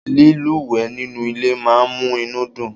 lílúwèé nínú ilé máa n mú inú dùn